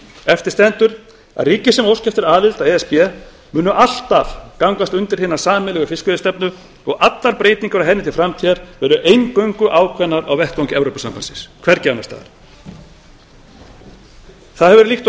eftir stendur að ríki sem óska eftir aðild að e s b munu alltaf gangast undir hina sameiginlegu fiskveiðistefnu og allar breytingar á henni til framtíðar verða eingöngu ákveðnar á vettvangi evrópusambandsins hvergi annars staðar það hefur verið líkt og